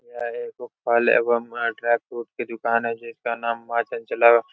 यह एगो फल एवं वहां ड्राईफ्रूट की दुकान है जिसका नाम माँ चंचला --